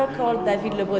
og